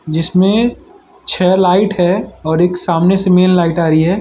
जिसमें छे लाइट है और एक सामने से मेन लाइट आ रही है।